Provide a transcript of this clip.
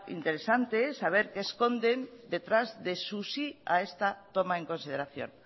interesante saber qué esconden detrás de su sí a esta toma en consideración